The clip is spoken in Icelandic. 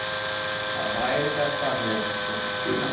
Það væri þetta með stúlkuna.